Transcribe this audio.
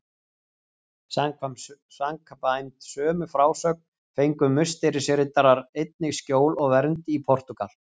Samkvæmt sömu frásögn fengu Musterisriddarar einnig skjól og vernd í Portúgal.